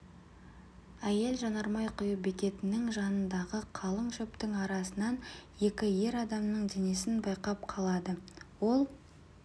әйел жанармай құю бекетінің жанындағы қалың шөптің арасынан екі ер адамның денесін байқап қалады ол